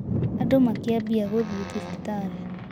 Andũ makiambia gũthiĩ thibitarĩ